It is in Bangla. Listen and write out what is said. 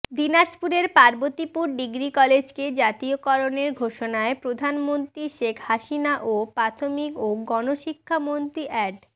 দিনাজপুরের পার্বতীপুর ডিগ্রি কলেজকে জাতীয়করণের ঘোষণায় প্রধানমন্ত্রী শেখ হাসিনা ও প্রাথমিক ও গণশিক্ষামন্ত্রী অ্যাড